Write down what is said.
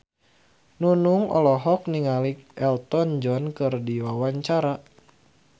Nunung olohok ningali Elton John keur diwawancara